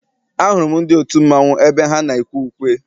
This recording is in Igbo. Ahụrụ m ndị otu mmanwụ ebe ha na-ekwe ukwe.